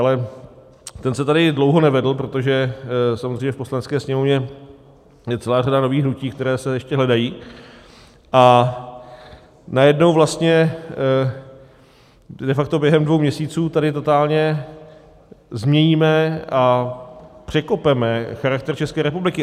Ale ten se tady dlouho nevedl, protože samozřejmě v Poslanecké sněmovně je celá řada nových hnutí, která se ještě hledají, a najednou vlastně de facto během dvou měsíců tady totálně změníme a překopeme charakter České republiky.